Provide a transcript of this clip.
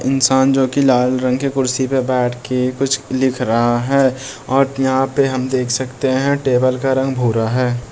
इंसान जोकि लाल रंग की कुर्सी पर बैठ के कुछ लिख रहा है और यहाँ पे हम देख सकते है टेबल का रंग भूरा है।